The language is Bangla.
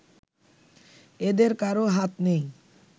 এদের কারও হাত নেই